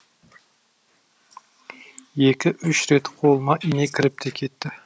екі үш рет қолыма ине кіріп те кетті